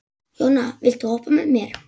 Jóna, viltu hoppa með mér?